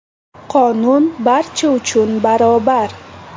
Qonun barcha uchun barobar.